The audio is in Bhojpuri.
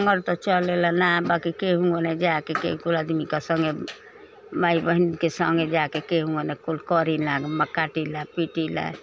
कमर त चलेला ना बाकी केहुना जाके केहुके आदमी सनघे माई बहन के सनघे जाके केहुना कुल करीना म कटीला पिटीला।